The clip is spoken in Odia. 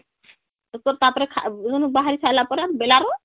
...ତାପରେ ସେନୁ ବାହାରି ସରିଲା ପରେ ବେଲାରୁ